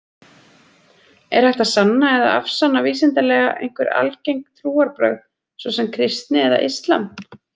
Er hægt að sanna eða afsanna vísindalega einhver algeng trúarbrögð, svo sem kristni eða islam?